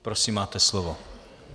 Prosím máte slovo.